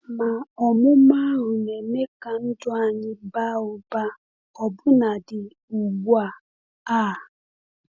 Ma ọmụma ahụ na-eme ka ndụ anyị baa ụba ọbụnadị ugbu a. a.